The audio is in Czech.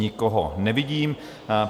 Nikoho nevidím.